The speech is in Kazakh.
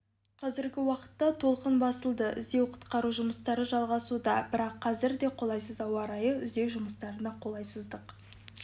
қазіргі уақытта толқын басылды іздеу құтқару жұмыстары жалғасуда бірақ қазір де қолайсыз ауа-райы іздеу жұмыстарына қолайсыздық